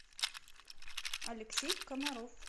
алексей комаров